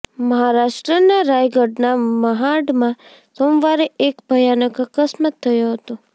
મહારાષ્ટ્રના રાયગઢના મહાડમાં સોમવારે એક ભયાનક અકસ્માત થયો હતો